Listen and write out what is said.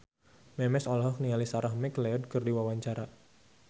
Memes olohok ningali Sarah McLeod keur diwawancara